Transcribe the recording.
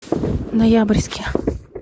ноябрьске